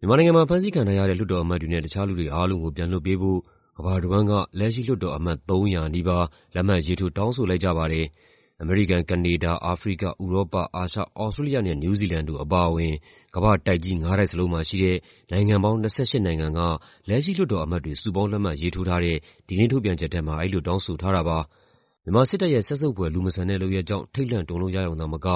မြန်မာနိုင်ငံမှာ ဖမ်းဆီးခံထားရတဲ့ လွှတ်တော်အမတ်တွေနဲ့ တခြားလူတွေအားလုံးကို ပြန်လွှတ်ပေးဖို့ ကမ္ဘာတဝန်းက လက်ရှိလွှတ်တော်အမတ် ၃၀၀ နီးပါး လက်မှတ်ရေးထိုး တောင်းဆိုလိုက်ကြပါတယ်။ အမေရိကန်၊ ကနေဒါ၊ အာဖရိက၊ ဥရောပ၊ အာရှ၊ သြစတြေးလျနဲ့ နယူးဇီလန်တို့အပါအဝင် ကမ္ဘာ့တိုက်ကြီး ငါးတိုက်စလုံးမှာရှိတဲ့ နိုင်ငံပေါင်း ၂၈ နိုင်ငံက လက်ရှိလွှတ်တော်အမတ်တွေ စုပေါင်းလက်မှတ်ရေးထိုးထားတဲ့ ဒီကနေ့ ထုတ်ပြန်ချက်ထဲမှာ အဲဒီလိုတောင်းဆိုထားတာပါ။ "မြန်မာစစ်တပ်ရဲ့ စက်ဆုပ်ဖွယ် လူမဆန်တဲ့လုပ်ရပ်ကြောင့် ထိတ်လန့်တုန်လှုပ်ရရုံသာမက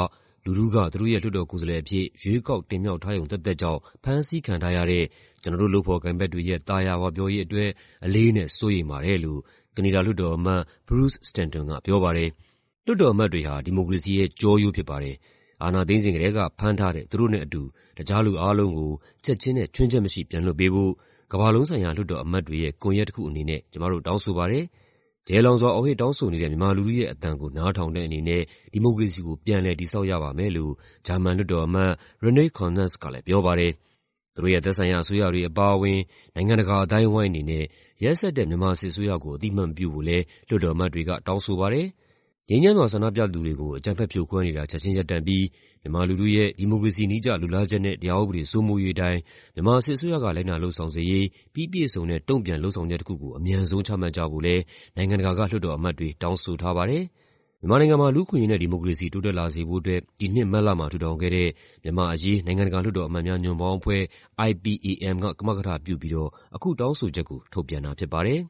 လူထုက သူတို့ရဲ့ လွှတ်တော်ကိုယ်စားလှယ်အဖြစ် ရွေးကောက်တင်မြှောက်ထားရုံသက်သက်ကြောင့် ဖမ်းဆီးခံထားရတဲ့ ကျနော်တို့ လုပ်ဖော်ကိုင်ဖက်တွေရဲ့ သာယာဝပြောရေးအတွက် အလေးအနက် စိုးရိမ်ပါတယ်။" လို့ ကနေဒါလွှတ်တော်အမတ် Bruce Stanton ကပြောပါတယ်။ "လွှတ်တော်အမတ်တွေဟာ ဒီမိုကရေစီရဲ့ ကျောရိုးဖြစ်ပါတယ်။ အာဏာသိမ်းစဉ်ကတည်းက ဖမ်းထားတဲ့ သူတို့နဲ့အတူ တခြားလူအားလုံးကို ချက်ခြင်းနဲ့ ခြွင်းချက်မရှိ ပြန်လွှတ်ပေးဖို့ ကမ္ဘာလုံးဆိုင်ရာ လွှတ်တော်အမတ်တွေရဲ့ကွန်ယက်တခုအနေနဲ့ ကျမတို့ တောင်းဆိုပါတယ်။ ကျယ်လောင်စွာ အော်ဟစ်တောင်းဆိုနေတဲ့ မြန်မာလူထုရဲ့အသံကို နားထောင်တဲ့အနေနဲ့ ဒီမိုကရေစီကို ပြန်လည်တည်ဆောက်ရပါမယ်။" လို့ ဂျာမန်လွှတ်တော်အမတ် Renate Künast ကလည်းပြောပါတယ်။ သူတို့ရဲ့သက်ဆိုင်ရာအစိုးရတွေအပါအဝင် နိုင်ငံတာအသိုင်းအဝိုင်းအနေနဲ့ ရက်စက်တဲ့ မြန်မာစစ်အစိုးရကို အသိအမှတ်မပြုဖို့လည်း လွှတ်တော်အမတ်တွေက တောင်းဆိုပါတယ်။ ငြိမ်းချမ်းစွာဆန္ဒပြသူတွေကို အကြမ်းဖက်ဖြိုခွဲနေတာ ချက်ခြင်းရပ်တန့်ပြီး မြန်မာလူထုရဲ့ ဒီမိုကရေစီနည်းကျ လိုလားချက်နဲ့ တရားဥပဒေစိုးမိုးရေးအတိုင်း မြန်မာစစ်အစိုးရက လိုက်နာလုပ်ဆောင်စေရေး ပြီးပြည့်စုံတဲ့ တုံ့ပြန်လုပ်ဆောင်ချက်တခုကို အမြန်ဆုံး ချမှတ်ကြဖို့လည်း နိုင်ငံတကာက လွှတ်တော်အမတ်တွေ တောင်းဆိုထားပါတယ်။ မြန်မာနိုင်ငံမှာ လူ့အခွင့်အရေးနဲ့ ဒီမိုကရေစီ တိုးတက်လာစေဖို့အတွက် ဒီနှစ် မတ်လမှာ ထူထောင်ခဲ့တဲ့ မြန်မာ့အရေး နိုင်ငံတကာလွှတ်တော်အမတ်များညွန့်ပေါင်းအဖွဲ့ (IPAM) က ကမကထပြုပြီးတော့ အခုတောင်းဆိုချက်ကို ထုတ်ပြန်တာဖြစ်ပါတယ်